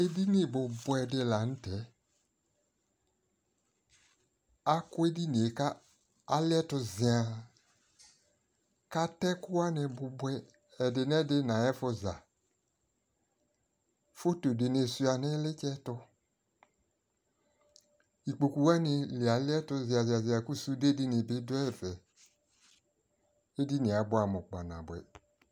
ɛdini bʋbʋɛ di lantɛ, akʋ ɛdiniɛ kʋ aliɛtʋ ziaa kʋ atɛ ɛkʋ wani bʋbʋɛ, ɛdinɛdi nʋayiɛƒʋ za, phɔtɔ dinibsʋa nʋ ilitsɛ tʋ ,ikpɔkʋ wani dza aliɛtʋ ziaa ziaa ziaa kʋ sʋdɛ dini bi dʋ ɛƒɛ kʋ ɛdiniɛ abʋamʋ kpa nabʋɛ